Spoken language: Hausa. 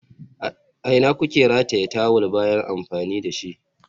A ina kuke rataye tawul bayan amfani da shi?